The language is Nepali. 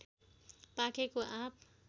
पाकेको आँप